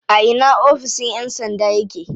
A ina oficin yan sandan yake?